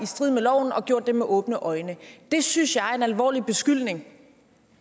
strid med loven og har gjort det med åbne øjne det synes jeg er en alvorlig beskyldning